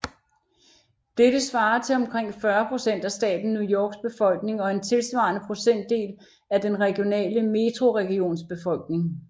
Dette svarer til omkring 40 procent af staten New Yorks befolkning og en tilsvarende procentdel af den regionale metroregions befolkning